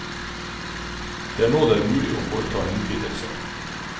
Det er nå det er mulig å foreta en utvidelse.